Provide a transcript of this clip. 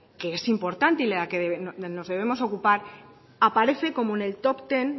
que es importante de la que nos debemos ocupar aparece como en el top ten